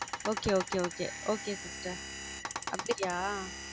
Okay okay okay okay sister அப்பிடியா?